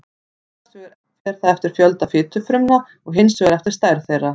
annars vegar fer það eftir fjölda fitufrumna og hins vegar eftir stærð þeirra